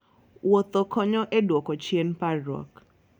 Wuotho konyo e duoko chien parruok.